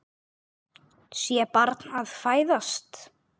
Sé barn fæðast.